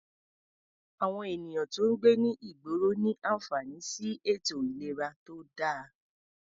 Àwọn ènìyàn tó ń gbé ní ìgboro ní àǹfààní sí ètò ìlera tó dáa.